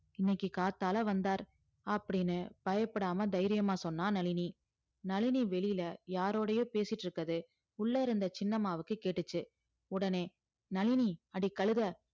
இன்னைக்கி காத்தால வந்தார் அப்டின்னு பயப்படாம சொன்னார் நளினி நளினி வெளில யாரோடையே பேசிட்டு இருக்கறது உள்ள இருந்த சின்னம்மாக்கு கேட்டிச்சி உடனே நளினி அட கழுத